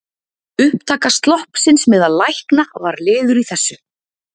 Upptaka sloppsins meðal lækna var liður í þessu.